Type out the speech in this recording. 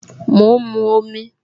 Mo ń mu omi